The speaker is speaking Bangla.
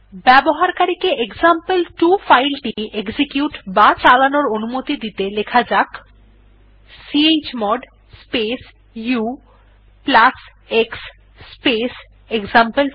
ব্যবকারীকে এক্সাম্পল2 ফাইল টি এক্সিকিউট বা চালানোর অনুমতি দিতে লেখা যাক chmod space ux space example two